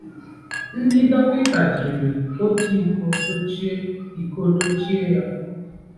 Ndị dọkịta jiri otu iko dochie iko dochie ya.